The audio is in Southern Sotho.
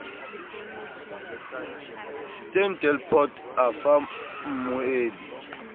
steyn delport a fa mmueli